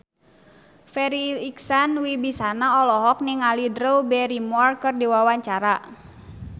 Farri Icksan Wibisana olohok ningali Drew Barrymore keur diwawancara